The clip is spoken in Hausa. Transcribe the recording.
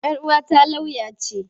Yar uwata lauya ce.